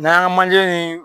N'an y'an ŋa manje ni